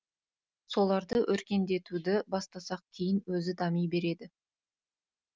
соларды өркендетуды бастасақ кейін өзі дами береді